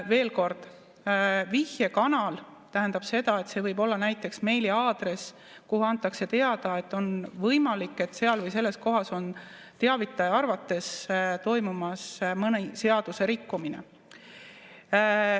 Veel kord: vihjekanal tähendab seda, et see võib olla näiteks meiliaadress, kuhu antakse teada, et on võimalik, et seal või selles kohas on teavitaja arvates toimumas mõni seadusrikkumine.